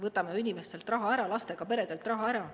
Võtame ju inimestelt raha ära, lastega peredelt raha ära.